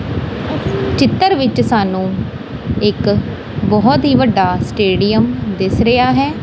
ਚਿੱਤਰ ਵਿੱਚ ਸਾਨੂੰ ਇੱਕ ਬਹੁਤ ਹੀ ਵੱਡਾ ਸਟੇਡੀਅਮ ਦਿੱਸ ਰਿਹਾ ਹੈ।